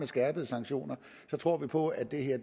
skærpede sanktioner tror vi på at det her